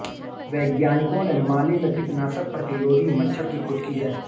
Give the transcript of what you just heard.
वैज्ञानिकों ने माली में कीटनाशक प्रतिरोधी मच्छर की खोज की है